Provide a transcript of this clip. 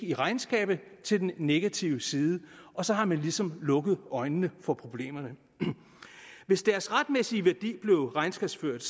i regnskabet til den negative side og så har man ligesom lukket øjnene for problemerne hvis deres retmæssige værdi blev regnskabsført